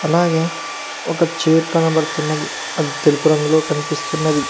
అలాగే ఒక చేరు కనబడుతున్నది అది తెలుపు రంగులో కనిపిస్తున్నది.